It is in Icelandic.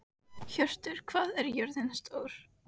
Hjörtur, hvað er jörðin stór?